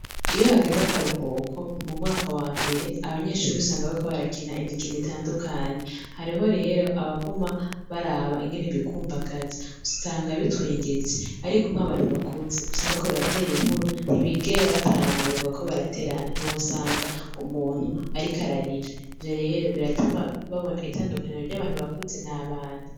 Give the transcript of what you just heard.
Iyo hageze akaruhuko, mu mwaka wa mbere abanyeshuri usanga bariko barakina imikino itandukanye, hariho rero abaguma baraba ingene bikumbagaza, usanga bitwengeje, ariko nk'abantu bakuze usanga bariko batera inkuru ntibigera batora amabuye ngo bariko baraterana ntiwosanga umuntu ariko ararira. Ivyo rero, biratuma babona itandukaniro ry' abantu bakuze n'abana.